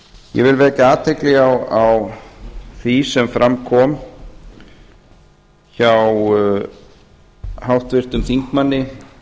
vil vekja athygli á því sem fram kom hjá háttvirtum þingmanni